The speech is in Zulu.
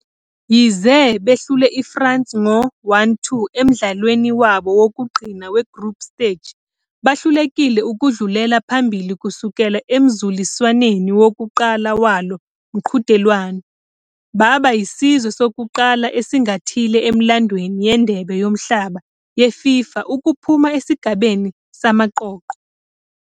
Yize behlule iFrance ngo-1-2 emdlalweni wabo wokugcina we-Group Stage, bahlulekile ukudlulela phambili kusukela emzuliswaneni wokuqala walo mqhudelwano, baba yisizwe sokuqala esingathile emlandweni weNdebe Yomhlaba yeFIFA ukuphuma esigabeni samaqoqo.